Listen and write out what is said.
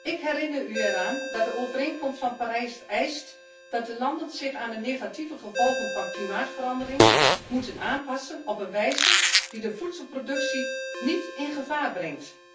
Ik herinner u eraan dat de Overeenkomst van Parijs eist dat de landen zich aan de negatieve gevolgen van klimaatverandering aanpassen op een wijze die de voedselproductie niet in gevaar brengt.